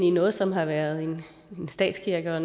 i noget som har været en statskirke og